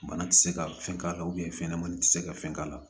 Bana ti se ka fɛn k'a la fɛnɲɛnamani ti se ka fɛn k'a la